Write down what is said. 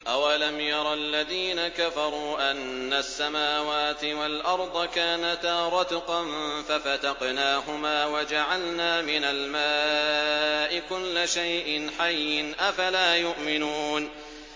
أَوَلَمْ يَرَ الَّذِينَ كَفَرُوا أَنَّ السَّمَاوَاتِ وَالْأَرْضَ كَانَتَا رَتْقًا فَفَتَقْنَاهُمَا ۖ وَجَعَلْنَا مِنَ الْمَاءِ كُلَّ شَيْءٍ حَيٍّ ۖ أَفَلَا يُؤْمِنُونَ